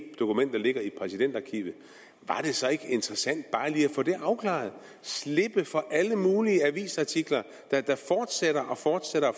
dokumenter ligger i præsidentarkivet var det så ikke interessant bare lige at få det afklaret og slippe for alle mulige avisartikler der fortsætter